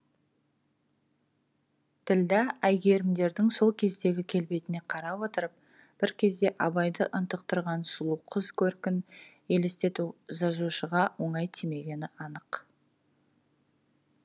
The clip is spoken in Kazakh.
ділдә әйгерімдердің сол кездегі келбетіне қарап отырып бір кезде абайды ынтықтырған сұлу қыз көркін елестету жазушыға оңай тимегені анық